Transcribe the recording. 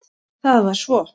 Það var svo